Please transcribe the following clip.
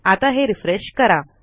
आता हे रिफ्रेश करा